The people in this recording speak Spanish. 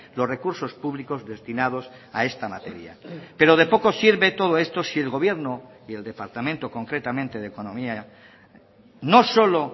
los recursos públicos destinados a esta materia pero de poco sirve todo esto si el gobierno y el departamento concretamente de economía no solo